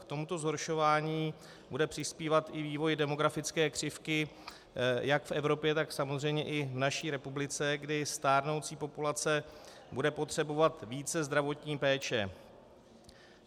K tomuto zhoršování bude přispívat i vývoj demografické křivky jak v Evropě, tak samozřejmě i v naší republice, kdy stárnoucí populace bude potřebovat více zdravotní péče.